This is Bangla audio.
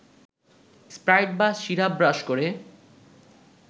স্প্রাইট বা সিরাপ ব্রাশ করে